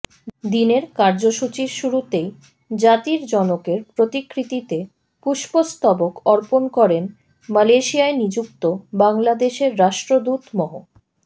দিনের কার্যসূচির শুরুতেই জাতির জনকের প্রতিকৃতিতে পুষ্পস্তবক অর্পণ করেন মালয়েশিয়ায় নিযুক্ত বাংলাদেশের রাষ্ট্রদূত মহ